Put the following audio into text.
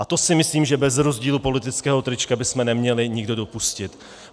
A to si myslím, že bez rozdílu politického trička bychom neměli nikdo dopustit.